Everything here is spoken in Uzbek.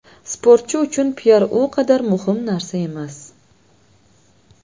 Sportchi uchun piar u qadar muhim narsa emas.